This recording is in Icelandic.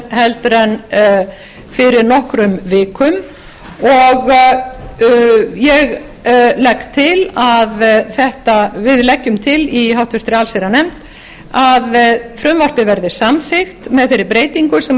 heldur en fyrir nokkrum vikum og við leggjum til í háttvirta allsherjarnefnd að frumvarpið verði samþykkt með þeirri breytingu sem